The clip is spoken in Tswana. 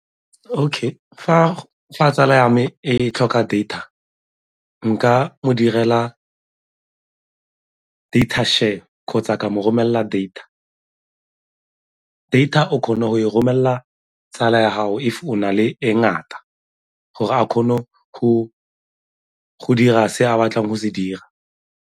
Okay, fa tsala ya me e tlhoka data nka mo direla data share kgotsa ka mo romelela data. Data o kgona go e romelela tsala ya gago if o na le e ngata gore a kgone go dira se a batlang go se dira.